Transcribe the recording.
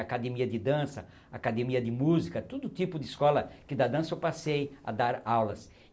Academia de dança, academia de música, todo tipo de escola que dá dança eu passei a dar aulas.